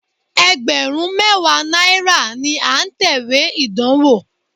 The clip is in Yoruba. Ẹgbẹ̀rún mẹ́wàá náírà ni à ń tẹ̀wé ìdánwó.